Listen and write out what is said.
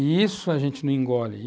E isso a gente não engole.